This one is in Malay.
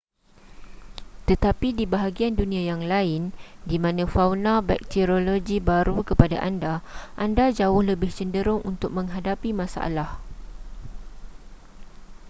tetapi di bahagian dunia yang lain di mana fauna bakteriologi baru kepada anda anda jauh lebih cenderung untuk menghadapi masalah